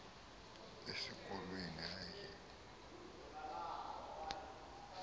esi kolweni hayi